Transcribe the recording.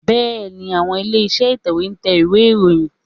Bẹ́ẹ̀ni, àwọn ilé-iṣẹ́ ìtẹ̀wé ń tẹ ìwé ìròyìn